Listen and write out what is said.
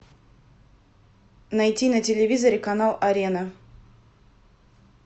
найти на телевизоре канал арена